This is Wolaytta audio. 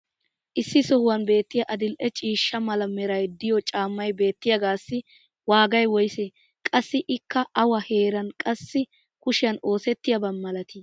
issi sohuwan beettiya adil'e ciishsha mala meray diyo caamay beetiyaagaassi waagay woyssee? qassi ikka awa heeran qassi kushiyan oosettiyaaba malatii?